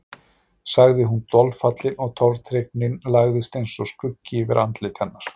sagði hún dolfallin og tortryggnin lagðist eins og skuggi yfir andlit hennar.